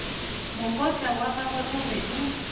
mokotla wagagwe o be o